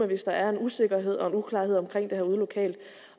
hvis der er en usikkerhed og uklarhed omkring det her ude lokalt